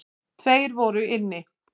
Tveir voru inni.